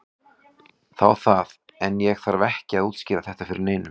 Þá það, en ég þarf ekki að útskýra þetta fyrir neinum.